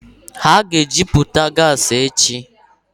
Ha ga-ejuputa gasi echi.